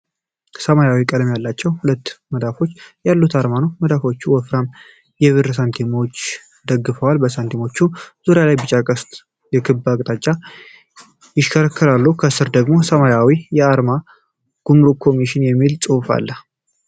ሰማያዊ ቀለም ያላቸው ሁለት መዳፎች ያሉት አርማ ነው። መዳፎቹ ወፍራም የብር ሳንቲሞችን ደግፈዋል። በሳንቲሞቹ ዙሪያ ቢጫ ቀስቶች በክብ አቅጣጫ ይሽከረከራሉ። ከሥር ደግሞ ሰማያዊ የአማርኛ "ጉምሩክ ኮሚሽን" የሚል ጽሑፍ አለ።